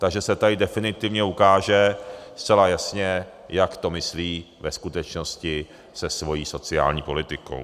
Takže se tady definitivně ukáže zcela jasně, jak to myslí ve skutečnosti se svou sociální politikou.